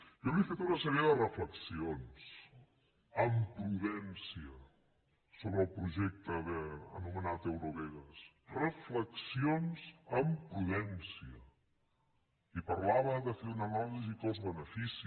jo li he fet una sèrie de reflexions amb prudència sobre el projecte anomenat eurovegas reflexions amb prudència i parlava de fer una anàlisi cost benefici